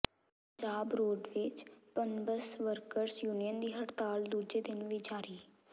Punjab roadways Punbus workers union ਦੀ ਹੜਤਾਲ ਦੂਜੇ ਦਿਨ ਵੀ ਜਾਰੀ